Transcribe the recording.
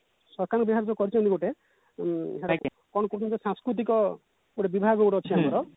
ସରକାର ଯାହା ହୋଊ କରିଛନ୍ତି ଗୋଟେ କଣ କୁହନ୍ତି ସସ୍କୁତିକ ଗୋଟେ ବିଭାଗ ଗୋଟେ ଅଛି ଆମର